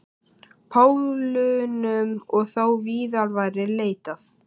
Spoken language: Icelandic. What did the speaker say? Pólunum og þó víðar væri leitað.